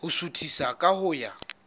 ho suthisa ka ho ya